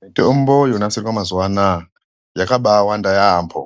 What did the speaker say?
Mitombo yonasirwa mazuwa anaa, yakabaawanda yaampho.